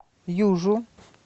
южу